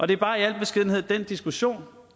det er bare i al beskedenhed den diskussion